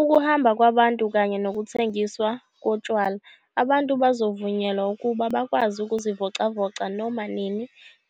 Ukuhamba kwabantu kanye nokuthengiswa kotshwala. Abantu bazovunyelwa ukuba bakwazi ukuzivocavoca noma nini